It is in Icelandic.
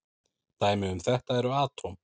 Dæmi um þetta eru atóm.